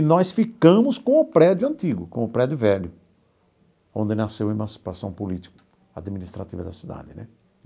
E nós ficamos com o prédio antigo, com o prédio velho, onde nasceu a emancipação política administrativa da cidade, né?